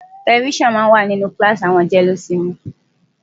Tẹlifíṣàn máa ń wà ní kíláàsì àwọn jẹ́lósinmi.